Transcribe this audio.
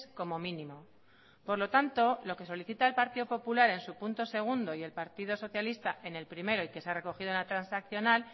como mínimo por lo tanto lo que solicita el partido popular en su punto segundo y el partido socialista en el primero y que se ha recogido en la transaccional